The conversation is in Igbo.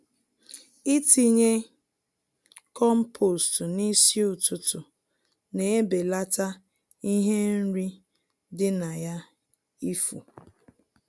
Itinye compost n'isi ụtụtụ na-ebelata ihe nri di na ya ifu.